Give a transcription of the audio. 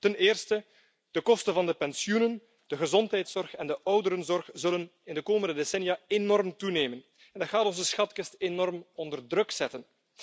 Ten eerste, de kosten van de pensioenen, de gezondheidszorg en de ouderenzorg zullen in de komende decennia enorm toenemen en dat gaat onze schatkist enorm onder druk zetten.